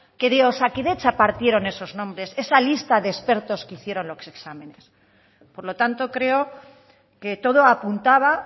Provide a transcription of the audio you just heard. que de osakidetza partieron esos nombres esa lista de expertos que hicieron los exámenes por lo tanto creo que todo apuntaba